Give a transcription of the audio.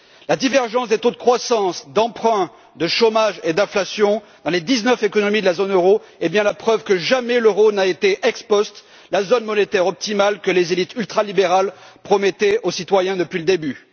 La divergence des taux de croissance, d'emprunt, de chômage et d'inflation dans les dix neuf économies de la zone euro est bien la preuve que jamais l'euro n'a été, ex post, la zone monétaire optimale que les élites ultralibérales promettaient aux citoyens depuis le début.